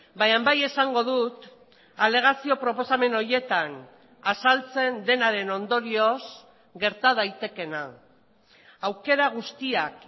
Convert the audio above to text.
baina bai esango dut alegazio proposamen horietan azaltzen denaren ondorioz gerta daitekeena aukera guztiak